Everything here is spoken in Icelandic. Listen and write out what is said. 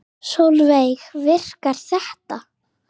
Sólveig: Virkar þetta?